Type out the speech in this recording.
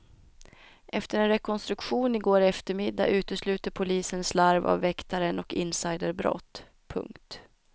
Efter en rekonstruktion i går eftermiddag utesluter polisen slarv av väktaren och insiderbrott. punkt